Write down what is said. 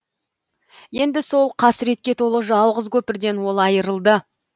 енді сол қасіретке толы жалғыз көпірден ол айырылды